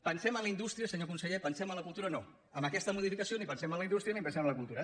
pensem en la indústria senyor conseller pensem en la cultura no amb aquesta modificació ni pensem en la indústria ni pensem en la cultura